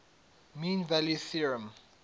mean value theorem